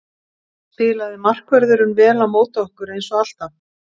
Spilaði markvörðurinn vel á móti okkur eins og alltaf?